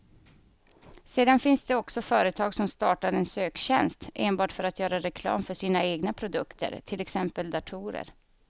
Sedan finns det också företag som startar en söktjänst enbart för att göra reklam för sina egna produkter, till exempel datorer.